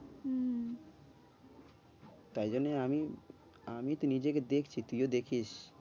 তাই জন্যই আমি আমিতো নিজেকে দেখছি তুই দেখিস।